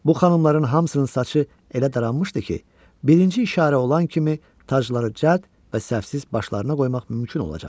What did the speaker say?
Bu xanımların hamısının saçı elə daranmışdı ki, birinci işarə olan kimi tacları cəld və səhvsiz başlarına qoymaq mümkün olacaqdı.